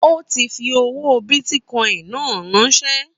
Ó ti fi owó bìtìcoin náà ránsẹ́